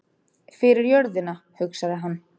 Fyrir jörðina, hugsaði hann.